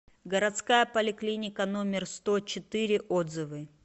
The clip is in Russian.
городская поликлиника номер сто четыре отзывы